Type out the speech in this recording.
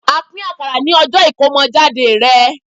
a pin akara ní ọjọ Ikomojade rẹ